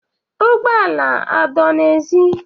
Ụgbọ ala adọ n'èzí?